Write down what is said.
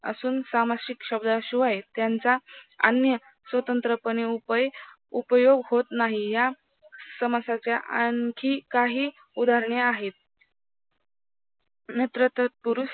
असून सामासिक शब्दाशिवाय त्यांचा अन्य स्वतंत्र पणे उपय उपयोग होता नाही या समासाच्या आणखी काही उदारणहे आहेत नेत्र तत्पुरुस